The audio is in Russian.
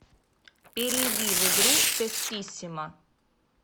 перейди в игру тестиссимо